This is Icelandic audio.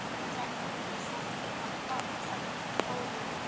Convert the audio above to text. Þetta var í sannleika sagt fáránlegt!